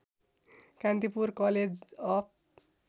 Kantipur college of